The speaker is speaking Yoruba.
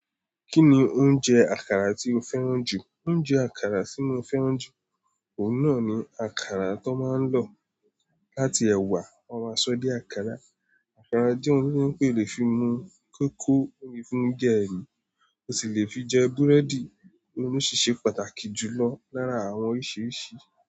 Kí ni oúnjẹ àkàrà tí o fẹ́ràn jù? Oúnjẹ àkàrà tí mo fẹ́ràn jù, òun náà ni àkàrà tón máa ń lọ láti ẹ̀wà, wọ́n máa sọ ó dí àkàrà. Àkàrà je oun to je pé o lè fi mu kóko o le fi je oúnjẹ ẹ̀mí, o sì lè fi jẹ búrẹ́dì, ohun sì ṣe pàtàkì jù lọ lára àwọn oríṣiríṣi.